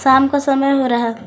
शाम का समय हो रहा है।